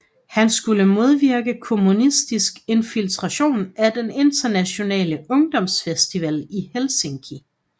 Han skulle modvirke kommunistisk infiltration af den Internationale Ungdomsfestival i Helsinki